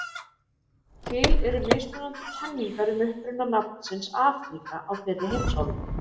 til eru mismunandi kenningar um uppruna nafnsins afríka á þeirri heimsálfu